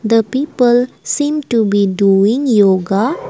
the people seen to be doing yoga .]